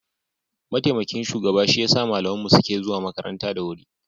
mataimakin shugaba shi ya sa malaman mu suke zuwa makaranta da wuri